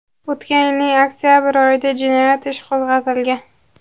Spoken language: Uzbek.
O‘tgan yilning oktabr oyida jinoyat ishi qo‘zg‘atilgan.